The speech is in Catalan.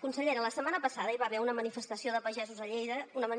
consellera la setmana passada hi va haver una manifestació de pagesos a lleida una